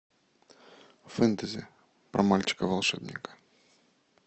фэнтези про мальчика волшебника